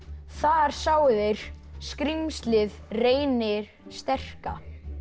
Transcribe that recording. þar sáu þeir skrímslið Reyni sterka